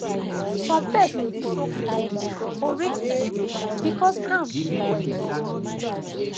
some pest dey show face more for rainy season because ground dey wet